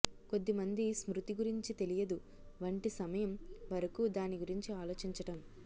కొద్ది మంది స్మృతి గురించి తెలియదు వంటి సమయం వరకు దాని గురించి ఆలోచించటం